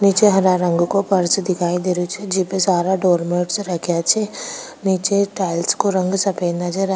निचे हरा रंग को पर्स दिखाई दे रो छे जिप सारे डोर मेट्स रखे छे निचे टाइलस का रंग सफ़ेद नजर आ --